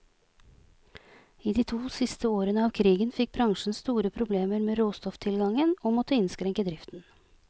I de to siste årene av krigen fikk bransjen store problemer med råstofftilgangen, og måtte innskrenke driften.